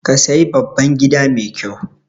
Ka sayi babban gida mai ƙyau